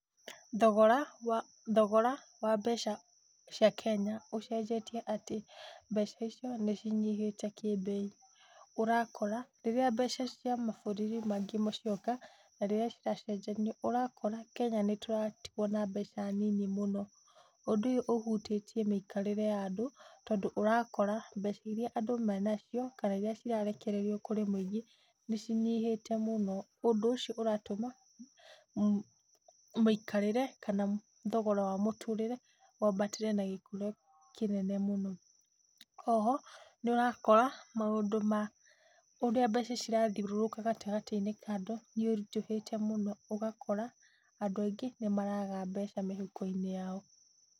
Thogora wa, thogora wa mbeca cia Kenya ũcenjetie atĩ mbeca icio nĩ cinyihĩte kĩ mbei. Ũrakora rĩrĩa mbeca cia mabũrũri mangĩ cioka na rĩrĩa ciracenjanio ũrakora Kenya nĩ tũratigwo na mbeca nyingĩ mũno. Ũndũ ũyũ ũhutĩtie mĩikarĩre ya andũ, tondũ ũrakora mbeca irĩa andũ menacio kana irĩa irarekererio kũrĩ mũingĩ nĩ cinyihĩte mũno. Ũndũ ũcio ũratuma mũikarĩre kana thogora wa mũtũrĩre wambatĩre na gĩkĩro kĩnene mũno. O ho nĩũrakora maũndũ ma ũrĩa mbeca cirathiũrũrũka gatagata-inĩ ka andũ nĩ ũritũhĩte mũno, ũgakora andũ aingĩ nĩ maraga mbeca mĩhuko-inĩ yao.